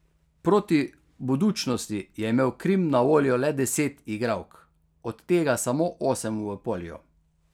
Proti Budućnosti je imel Krim na voljo le deset igralk, od tega samo osem v polju.